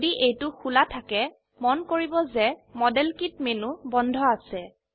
যদি এইটো খোলা থাকে মন কৰিব যে মডেল কিট মেনু বন্ধ আছে